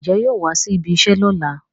Ǹjẹ́ yóò wá síbi iṣẹ́ lọ́la?